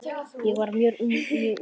Ég var mjög ungur.